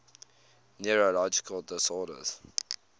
neurological disorders